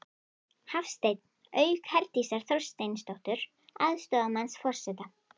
Hafstein, auk Herdísar Þorsteinsdóttur, aðstoðarmanns forseta.